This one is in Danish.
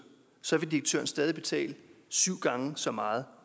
stadig betale syv gange så meget